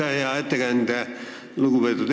Aitäh, lugupeetud eesistuja!